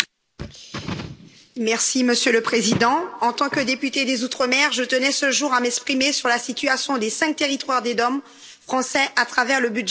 Monsieur le Président, en tant que députée des outre mer, je tenais, ce jour, à m'exprimer sur la situation des cinq territoires des DOM français à travers le budget général de l'Union européenne.